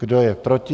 Kdo je proti?